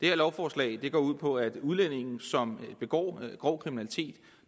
her lovforslag går ud på at udlændinge som begår grov kriminalitet